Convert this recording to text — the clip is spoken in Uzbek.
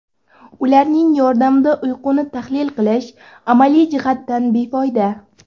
Ularning yordamida uyquni tahlil qilish amaliy jihatdan befoyda.